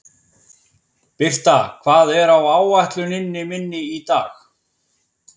Birta, hvað er á áætluninni minni í dag?